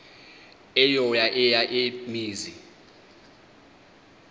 eyo eya mizi